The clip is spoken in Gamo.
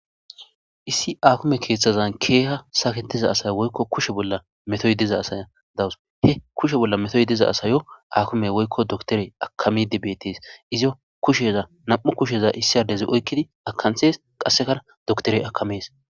Issi akime keethazan keeha saketiza woyko kushe bolla metoy diza asaya daws he kushe bolla metoy diza asayo akimey woyko dokiterey hakamidi beetes izo kusheza nam'u kusheza issi adezi oykidi akanthes qaseka dokiterey akames